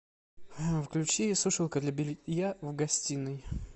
включи сушилка для белья в гостиной